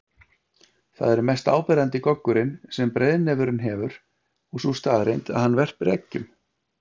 Þar er mest áberandi goggurinn sem breiðnefurinn hefur og sú staðreynd að hann verpir eggjum.